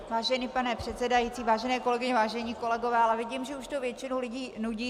Vážený pane předsedající, vážené kolegyně, vážení kolegové, ale vidím, že už to většinu lidí nudí.